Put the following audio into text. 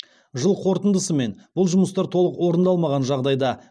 жыл қорытындысымен бұл жұмыстар толық орындалмаған жағдайда